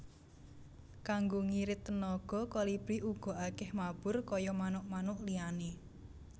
Kanggo ngirit tenaga Kolibri ora akèh mabur kaya manuk manuk liyané